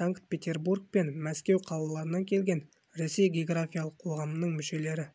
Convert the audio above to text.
санкт-петербург пен мәскеу қалаларынан келген ресей географиялық қоғамының мүшелері